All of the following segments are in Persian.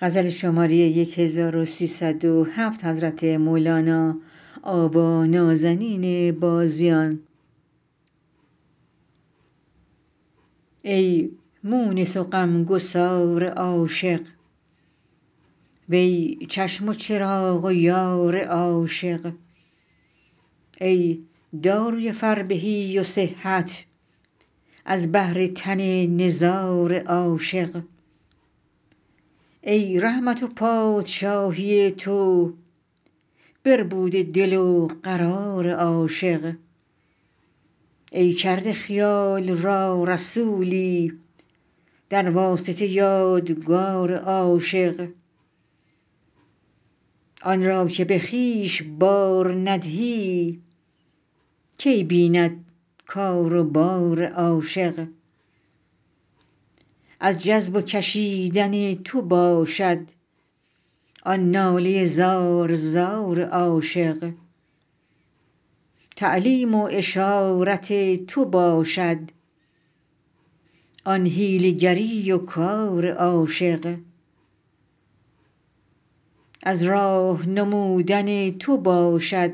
ای مونس و غمگسار عاشق وی چشم و چراغ و یار عاشق ای داروی فربهی و صحت از بهر تن نزار عاشق ای رحمت و پادشاهی تو بربوده دل و قرار عاشق ای کرده خیال را رسولی در واسطه یادگار عاشق آن را که به خویش بار ندهی کی بیند کار و بار عاشق از جذب و کشیدن تو باشد آن ناله زار زار عاشق تعلیم و اشارت تو باشد آن حیله گری و کار عاشق از راه نمودن تو باشد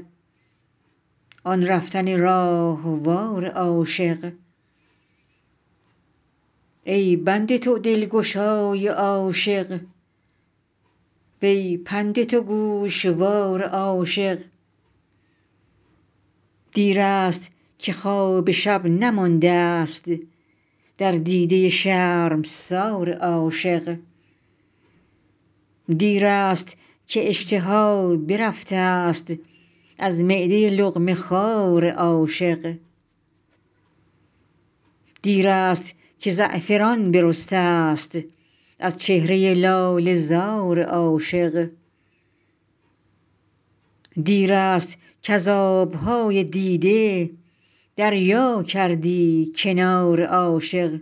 آن رفتن راهوار عاشق ای بند تو دلگشای عاشق وی پند تو گوشوار عاشق دیرست که خواب شب نمانده است در دیده شرمسار عاشق دیرست که اشتها برفتست از معده لقمه خوار عاشق دیرست که زعفران برستست از چهره لاله زار عاشق دیرست کز آب های دیده دریا کردی کنار عاشق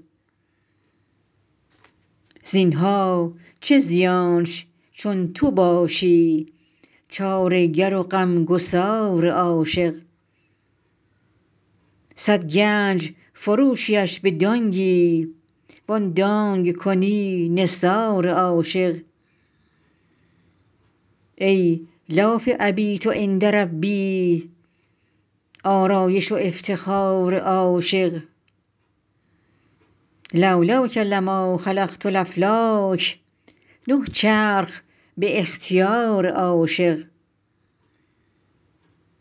زین ها چه زیانش چون تو باشی چاره گر و غمگسار عاشق صد گنج فروشیش به دانگی وان دانگ کنی نثار عاشق ای لاف ابیت عند ربی آرایش و افتخار عاشق لو لاک لما خلقت الافلاک نه چرخ به اختیار عاشق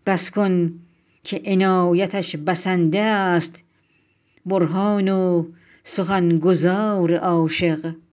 بس کن که عنایتش بسنده است برهان و سخن گزار عاشق